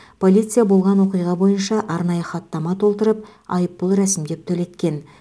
полиция болған оқиға бойынша арнайы хаттама толтырып айыппұл рәсімдеп төлеткен